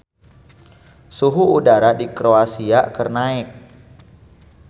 Suhu udara di Kroasia keur naek